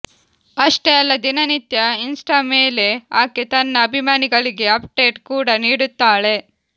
ಅಷ್ಟೇ ಅಲ್ಲ ದಿನನಿತ್ಯ ಇನ್ಸ್ಟಾ ಮೇಲೆ ಆಕೆ ತನ್ನ ಅಭಿಮಾನಿಗಳಿಗೆ ಅಪ್ಡೇಟ್ ಕೂಡ ನೀಡುತ್ತಾಳೆ